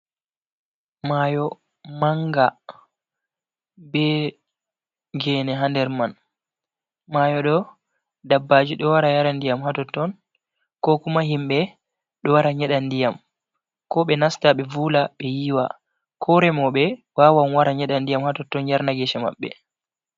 Mayo manga, be gene ha nder man. Mayo ɗo, dabbaji ɗo wara yara ndiyam ha totton. Ko kuma himɓe ɗo wara nyeɗa ndiyam, ko ɓe nasta be vuula, ɓe yiwa. Ko remoɓe wawan wara nyeɗa ndiyam ha totton yarna gese maɓɓe.